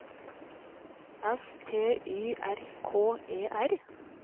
S T Y R K E R